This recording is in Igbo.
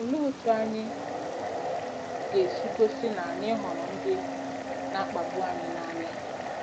Olee otú anyị ga-esi gosi na anyị hụrụ ndị na-akpagbu anyị n’anya?